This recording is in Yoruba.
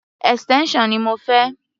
Extension ni mo fẹ́.